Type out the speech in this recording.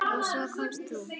Og svo komst þú!